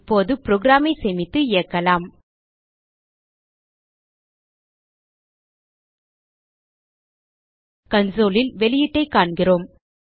இப்போது programஐ சேமித்து இயக்கலாம் consoleல் வெளியீட்டைக் காண்கிறோம்